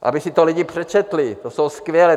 Aby si to lidi přečetli, to jsou skvělé...